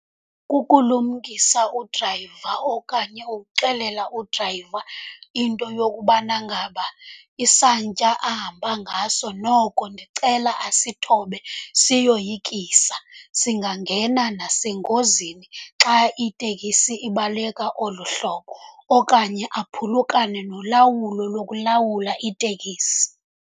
Kukulumkisa udrayiva okanye ukuxelela udrayiva into yokubana ngaba isantya ahamba ngaso noko ndicela asithobe, siyoyikisa. Singangena nasengozini xa iteksi ibaleka olu hlobo okanye aphulukane nolawulo lokulawula iteksi.